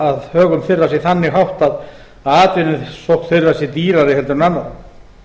að högum þeirra sé þannig háttað að atvinnusókn þeirra sé dýrari heldur en annarra